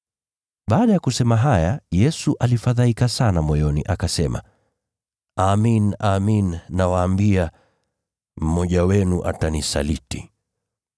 Baada ya kusema haya, Yesu alifadhaika sana moyoni, akasema, “Amin, amin nawaambia, mmoja wenu atanisaliti.”